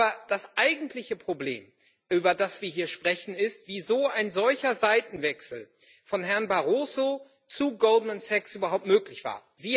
Aber das eigentliche Problem, über das wir hier sprechen, ist, wie so ein solcher Seitenwechsel von Herrn Barroso zu Goldman Sachs überhaupt möglich war.